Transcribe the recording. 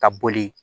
Ka boli